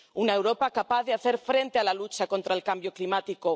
Una Europa capaz de hacer frente a la lucha contra el cambio climático.